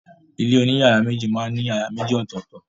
Ilé oní yàrá méjì máa ń ní yàrá méjì ọ̀tọ̀tọ̀.